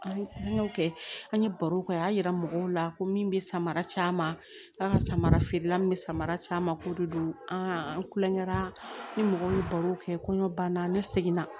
An y'o kɛ an ye barow kɛ a y'a yira mɔgɔw la ko min bɛ samara caman k'a ka samara feerela min bɛ samara caman ko de don an kulonkɛ la ni mɔgɔ bɛ baro kɛ kɔɲɔ banna ne seginna